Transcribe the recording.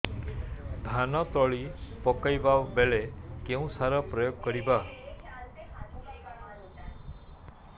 ଧାନ ତଳି ପକାଇବା ବେଳେ କେଉଁ ସାର ପ୍ରୟୋଗ କରିବା